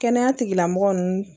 Kɛnɛya tigilamɔgɔ nunnu